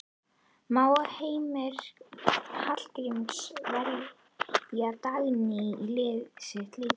Má Heimir Hallgríms velja Dagný í liðið sitt líka?